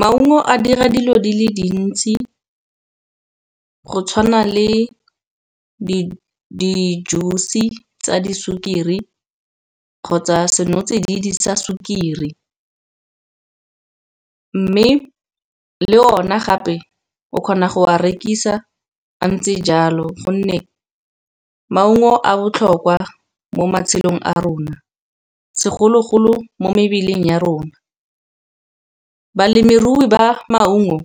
Maungo a dira dilo di le dintsi go tshwana le di-juice tsa di sukiri, kgotsa senotsididi sa sukiri. Mme le o ne gape o kgona go a rekisa a ntse jalo gonne maungo a botlhokwa mo matshelong a rona, segologolo mo mebeleng ya rona. Balemirui ba maungo